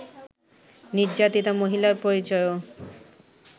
নির্যাতিতা মহিলার পরিচয়ও